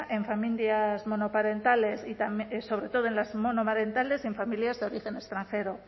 en familias monoparentales sobre todo en las monomarentales y en familias de origen extranjero